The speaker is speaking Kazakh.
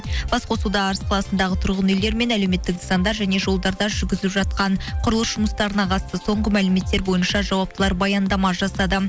бас қосуда арыс қаласындағы тұрғын үйлер мен әлеуметтік нысандар және жолдарда жүргізіліп жатқан құрылыс жұмыстарына қатысты соңғы мәліметтер бойыншы жауаптылар баяндама жасады